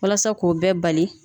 Walasa k'o bɛɛ bali